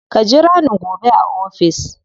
Ka jira ni gobe a ofis.